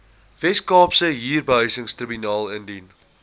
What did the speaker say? weskaapse huurbehuisingstribunaal indien